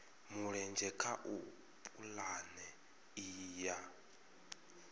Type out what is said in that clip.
mulenzhe kha pulane iyi ya